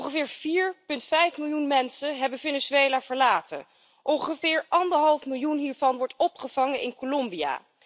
Ongeveer 4,5 miljoen mensen hebben Venezuela verlaten. Ongeveer anderhalf miljoen daarvan wordt opgevangen in Colombia.